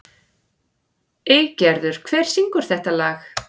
Eygerður, hver syngur þetta lag?